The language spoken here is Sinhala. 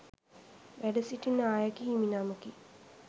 වැඩ සිටි නායක හිමි නමකි.